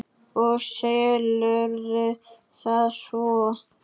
Og selurðu það svo?